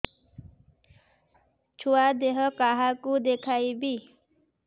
ଛୁଆ ଦେହ କାହାକୁ ଦେଖେଇବି